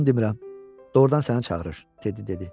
Yalan demirəm, doğrudan səni çağırır, Tedi dedi.